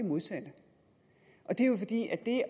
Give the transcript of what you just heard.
modsatte